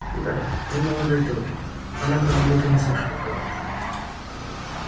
да и молодой тоже она как будто не слышала робота